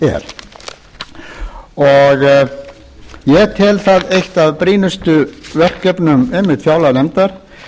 er ég tel það eitt af brýnustu verkefnum einmitt fjárlaganefndar